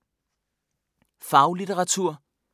Faglitteratur